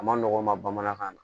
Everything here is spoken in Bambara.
A ma nɔgɔn n ma bamanankan na